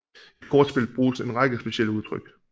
I kortspil bruges en række specielle udtryk